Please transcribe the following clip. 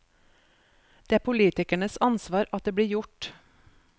Det er politikernes ansvar at det blir gjort.